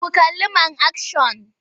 Ku kalli man akshan!